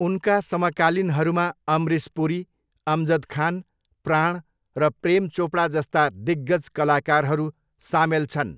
उनका समकालीनहरूमा अमरिस पुरी, अमजद खान, प्राण र प्रेम चोपडा जस्ता दिग्गज कलाकारहरू सामेल छन्।